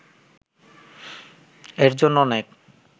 এর জন্য অনেক